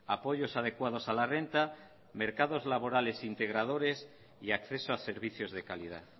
apoyos adecuados a la renta mercados laborales integradores y acceso a servicios de calidad